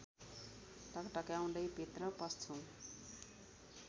ढकढक्याउँदै भित्र पस्छु